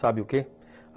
Sabe o quê?